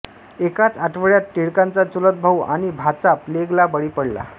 एकाच आठवड्यात टिळकांचा चुलतभाऊ आणि भाचा प्लेगला बळी पडला